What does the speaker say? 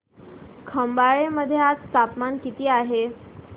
खंबाळे मध्ये आज तापमान किती आहे